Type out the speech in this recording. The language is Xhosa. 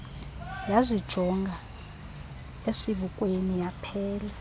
yazijonga esibukweni yaphela